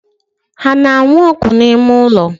Ha ano anu ogu na ime-ulo?